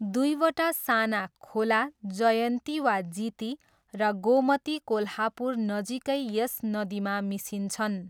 दुईवटा साना खोला, जयन्ती वा जिती र गोमती कोल्हापुर नजिकै यस नदीमा मिसिन्छन्।